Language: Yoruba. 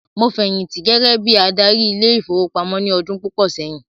Mo fẹ̀yìntì gẹgẹ bíi adarí ile-ìfowópamó ní ọdún púpò sẹyìn